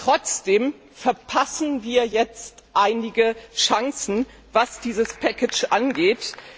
Trotzdem verpassen wir jetzt einige Chancen, was dieses Paket angeht.